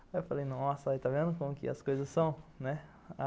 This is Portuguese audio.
Aí eu falei, nossa, aí tá vendo como que as coisas são, né.